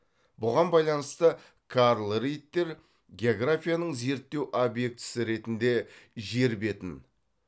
бұған байланысты карл риттер географияның зерттеу объектісі ретінде жер бетін